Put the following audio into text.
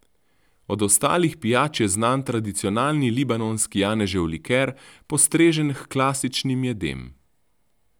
Od ostalih pijač je znan tradicionalni libanonski janežev liker, postrežen h klasičnim jedem.